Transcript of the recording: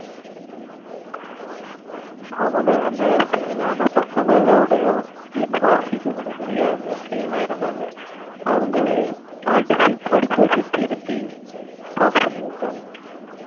அவன அந்த fail ஆனா பசங்கலோடையும் ஏன் வாசிக்க கூட தேரியாது அப்டியலாம் இருந்தாங்க அவங்களே அடிச்சி படிக்க வச்சிதிருத்தி pass பண்ணிவிட்டாங்க